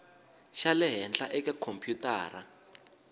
xa le henhla eka khompyutara